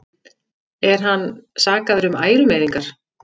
Er hann sakaður um ærumeiðingar